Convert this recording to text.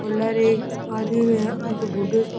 आदमी के आधा में बूढ़ा सा --